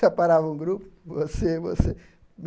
Separavam o grupo, você você.